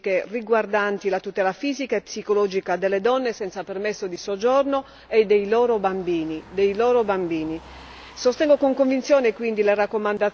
Per questo motivo dovremmo colmare le lacune giuridiche riguardanti la tutela fisica e psicologica delle donne senza permesso di soggiorno e dei loro bambini.